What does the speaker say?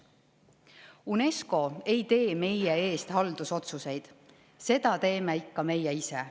UNESCO ei tee meie eest haldusotsuseid, neid teeme ikka meie ise.